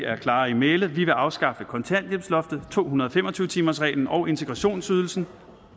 er klare i mælet vi vil afskaffe kontanthjælpsloftet to hundrede og fem og tyve timersreglen og integrationsydelsen